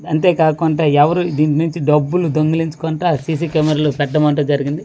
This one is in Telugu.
అంతే కాకుండా ఎవరు దీనుంచి డబ్బులు దొంగలించకుంట సీసీ కెమెరాలు పెట్టడం అంటూ జరిగింది.